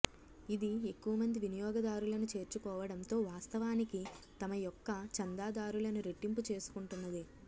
ఇది ఎక్కువ మంది వినియోగదారులను చేర్చుకోవడంతో వాస్తవానికి తమ యొక్క చందాదారులను రెట్టింపు చేసుకుంటున్నది